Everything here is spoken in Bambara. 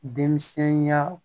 Denmisɛn ya